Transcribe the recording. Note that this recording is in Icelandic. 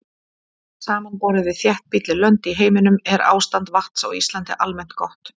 Samanborið við þéttbýlli lönd í heiminum er ástand vatns á Íslandi almennt gott.